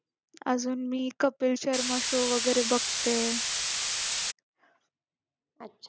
अजून मी कपिल शर्मा show वगैरे बघते